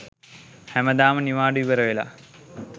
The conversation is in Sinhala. හැමදාම නිවාඩු ඉවරවෙලා